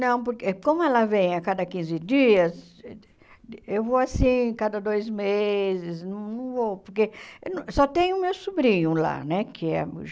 Não, porque como ela vem a cada quinze dias, eu vou assim, cada dois meses, não não vou, porque só tem o meu sobrinho lá, né? Que é